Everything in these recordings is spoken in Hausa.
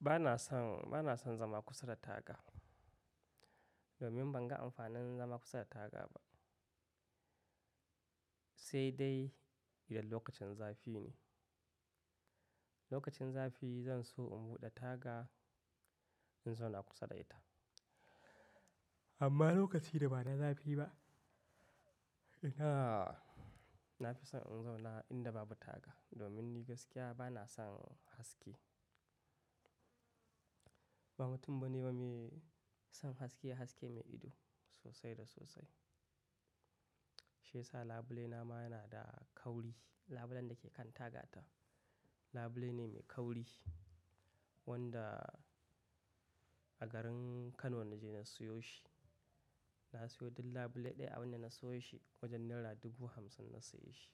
Ba na son, ba na son zama kusa da taga. Domin ban ga amfanin zama kusa da taga ba. Sai dai idan lokacin zafi ne. Lokacin zafi zan so in buɗe taga in zauna kusa da ita. Amma lokaci da ba na zafi ba, ina na fi son in zauna inda babu taga. Domin ni gaskiya ba na son haske. Ba mutum bane wa mai son haske, haske mai ido sosai da sosai. Shiyasa labule na ma yana da kauri. Labulen da ke kan tagata, labule ne mai kauri wanda a garin Kano na je na siyo shi. Na siyo duk labule ɗaya a wanda na sayo shi wajen naira dubu hamsin na saye shi.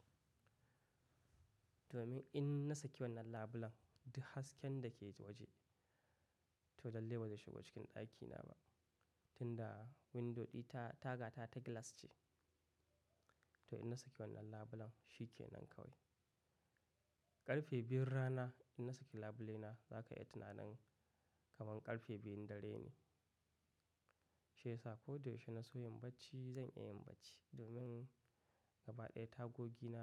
Domin in na saki wannan labulen duk hasken da ke ta waje to lalle bai zai shigo cikin ɗakina ba. Tunda window ɗi ta, tagata ta glass ce. To in na saki wannan labulen shi ke nan kawai. Ƙarfe biyun rana in na saki labule na za ka yi tunanin kaman ƙarfe biyun dare ne. Shiyasa ko da yaushe na so yin bacci zan iya yin bacci domin gaba ɗaya tagogi na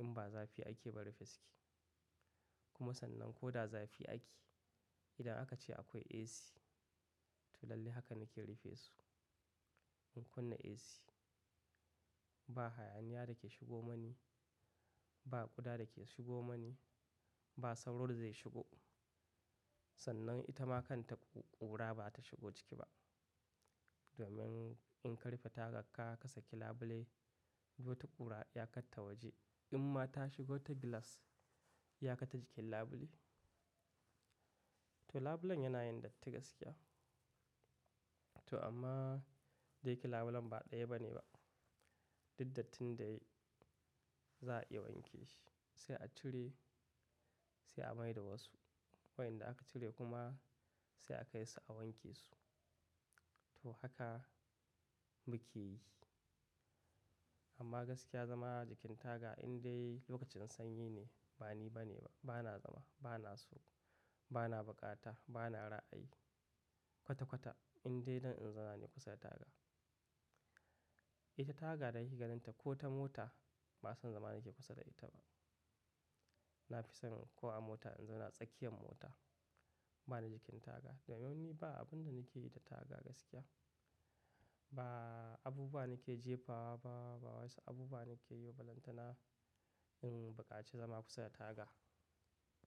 in ba zafi ake ba rufe suke. Kuma sannan ko da zafi ake, idan aka ce akwai AC to lalle haka nake rufe su. In kunna AC ba hayaniya dake shigo mani, ba ƙuda dake shigo mani, ba sauro da zai shigo. Sannan ita ma kan ta ƙura ba ta shigo ciki ba. Domin in ka rufe taga ka saki labule, duk wata ƙura iyakatta waje. In ma ta shigo ta glass ya kata jikin labule. To labulen yana yin datti gaskiya. To amma dayake labulen ba ɗaya bane ba. Duk dattin da yayi za a iya wanke shi sai a cire sai a mai da wasu. Wayanda aka cire kuma sai akai su a wanke su. To haka muke yi. Amma gaskiya zama jikin taga in dai lokacin sanyi ne ba ni bane ba. Ba na zama, ba na so, ba na bukata, ba na ra'ayi kwata-kwata in dai don in zauna ne kusa da taga. Ita taga da kake ganin ta ko ta mota ba son zama nake kusa da ita ba. Na fi son ko a mota in zauna a tsakiyar mota ba na jikin taga. Domin ni ba abun da nake yi da taga gaskiya. Ba abubuwa nake jefa wa ba, ba wasu abubuwa nake yi ba balantana in buƙaci zama kusa da taga.